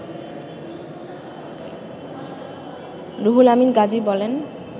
রুহুল আমীন গাজী বলেন